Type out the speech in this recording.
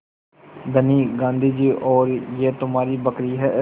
धनी गाँधी जी और यह तुम्हारी बकरी है